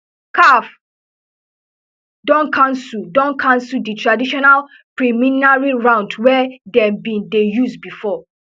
caf don cancel don cancel di traditional preliminary round wey dem bin dey use bifor